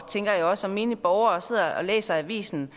som menig borger som sidder og læser avisen